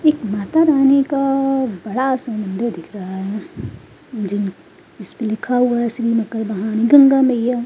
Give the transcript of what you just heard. एक माता रानी का बड़ा सा मंदिर दिख रहा है जिन जिसपे लिखा हुआ है श्री मकर वाहनी गंगा मैया।